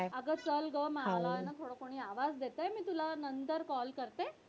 अगं चल ग मला ना दुसरं कोणी आवाज देतय मी तुला नंतर call करते.